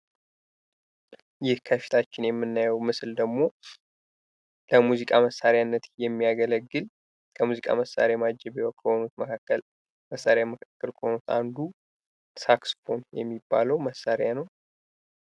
ይህ ከፊታችን የምናየው ምስል ደግሞ ለሙዚቃ መሳርያነት የሚያገለግል እና ከሆኑ አንዱ ለሙዚቃ መሳርያነት የሚያገለል፤ ሳክስ ፎን የሚባለው መሳሪያ ነው።